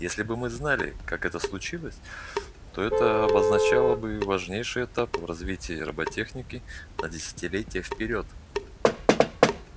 если бы мы знали как это случилось то это ээ обозначало бы важнейший этап в развитии роботехники на десятилетия вперёд